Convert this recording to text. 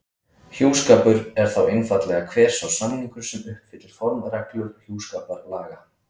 Hjúskapur er þá einfaldlega hver sá samningur sem uppfyllir formreglur hjúskaparlaga.